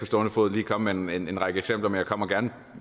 stående fod lige komme med en række eksempler men jeg kommer gerne